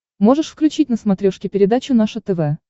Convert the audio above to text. можешь включить на смотрешке передачу наше тв